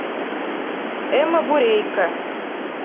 эмма бурейко